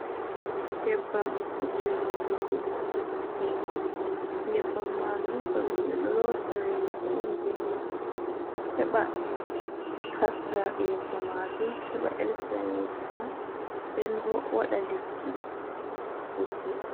Nyebbam je lotugo yeeso. Nyebbam majum kanjum ɓe ɗo lota yeeso on be man heɓa haska yeeso majum, heɓa ɗelkina yeeso man, nden bo waɗa lekki putte.